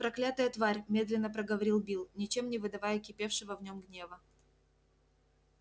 проклятая тварь медленно проговорил билл ничем не выдавая кипевшего в нем гнева